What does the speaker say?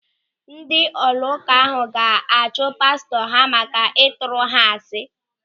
Ndị ụlọụka ahụ ga-achụ pastọ ha maka ịtụrụ ha asị.